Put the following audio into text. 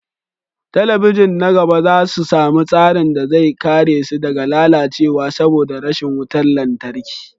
Talabijin na gaba za su sami tsarin da zai kare su daga lalacewa saboda rashin wutar lantarki